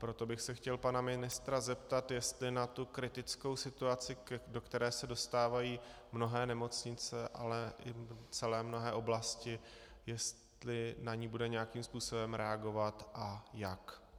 Proto bych se chtěl pana ministra zeptat, jestli na tu kritickou situaci, do které se dostávají mnohé nemocnice, ale i celé mnohé oblasti, jestli na ni bude nějakým způsobem reagovat a jak.